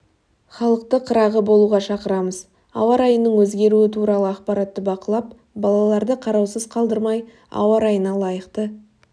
халықты қырағы болуға шақырамыз ауа райының өзгеруі туралы ақпаратты бақылап балаларды қараусыз қалдырмай ауа райына лайықты